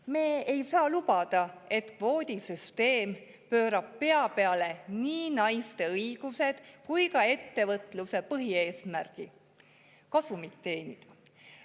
Me ei saa lubada, et kvoodisüsteem pöörab pea peale nii naiste õigused kui ka ettevõtluse põhieesmärgi kasumit teenida.